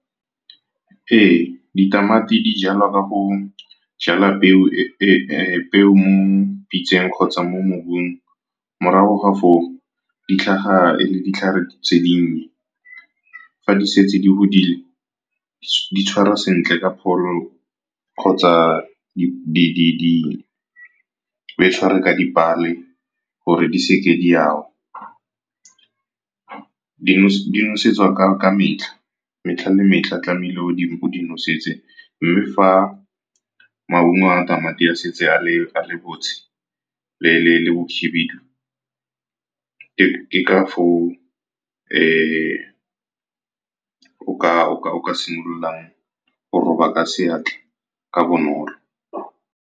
Ee, ditamati di jalwa ka go jala peo mo pitseng kgotsa mo mobung. Morago ga fo o di tlhaga e le ditlhare tse dinnye. Fa di setse di godile, di tshwarwa sentle ka o kgotsa o e tshware ka di pale gore di se ka di a wa. Di nosetswa ka metlha, metlha le metlha tlamehile o di nosetseng. Mme fa maungo a tamati a setse a le bontshe le bo khibidu, ke ka fo o o ka simolola go roba ka seatla ka bonolo.